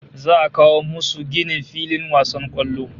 Za'a a kawo musu ginin filin wasan kwallo